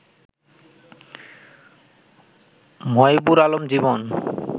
Moybur Alam Jibon